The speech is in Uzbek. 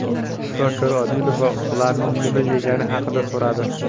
Shifokor Odilova ularning nima yegani haqida so‘radi.